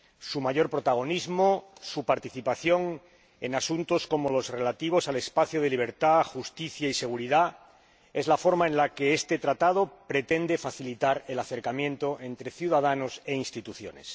Su mayor protagonismo, su participación en asuntos como los relativos al espacio de libertad, justicia y seguridad, es la forma en la que este Tratado pretende facilitar el acercamiento entre ciudadanos e instituciones.